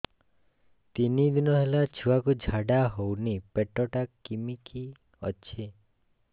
ତିନି ଦିନ ହେଲା ଛୁଆକୁ ଝାଡ଼ା ହଉନି ପେଟ ଟା କିମି କି ଅଛି